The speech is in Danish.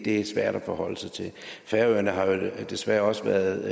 er svært at forholde sig til færøerne har desværre også været